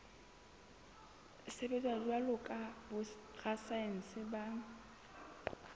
sebetsa jwalo ka borasaense ba